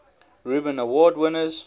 reuben award winners